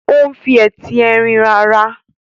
o n fí Ẹti Ẹrin rà ara.